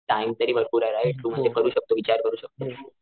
Time तरी भरपूर right तू म ते करू शकतो विचार करू शकतो.